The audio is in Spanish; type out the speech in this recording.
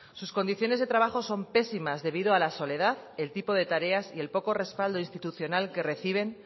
sus condiciones de trabajo son pésimas debido a la soledad el tipo de tareas y el poco respaldo institucional que reciben